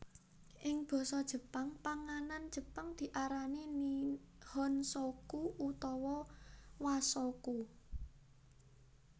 Ing basa Jepang panganan jepang diarani nihonshoku utawa washoku